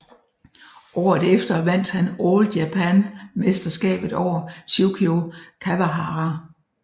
Året efter vandt han All Japan mesterskabet over Tsukio Kawahara